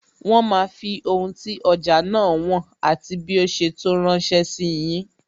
Wọn máa fi ohun tí ọjà náà wọn, àti bí ó ṣe tó ránsẹ́ sí yin